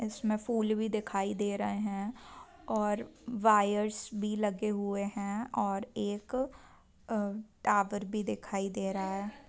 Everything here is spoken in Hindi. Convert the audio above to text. इसमें फूल भी दिखाई दे रहे हैं और वायर्स भी लगे हुए हैं और एक आ टावर भी दिखाई दे रहा है।